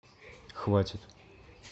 хватит